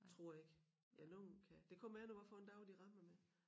Tror ikke ja nogle kan det kommer an på hvad for en dag de rammer mig